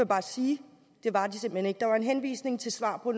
bare sige det var de simpelt hen ikke der var en henvisning til svar på